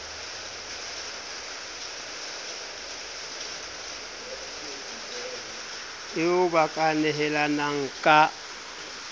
eo ba ka nehelanang ka